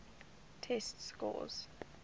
test scores